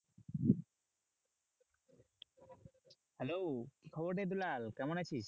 Hello কি খবর রে দুলাল কেমন আছিস?